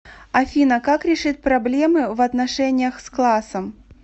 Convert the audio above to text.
афина как решить проблемы в отношениях с классом